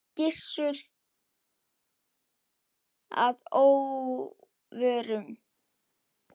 Gissuri að óvörum.